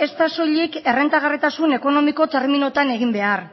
ez da soilik errentagarritasun ekonomiko terminotan egin behar